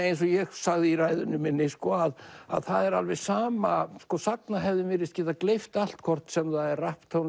eins og ég sagði í ræðunni minni að það er alveg sama sagnahefðin virðist geta gleypt allt hvort sem það er